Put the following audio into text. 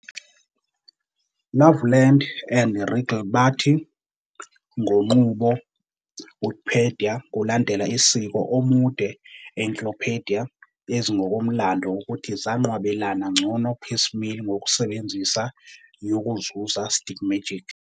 Loveland and Reagle bathi, ngo nqubo, Wikipedia kulandela isiko omude encyclopedia ezingokomlando ukuthi zanqwabelana ngcono piecemeal ngokusebenzisa 'yokuzuza stigmergic ".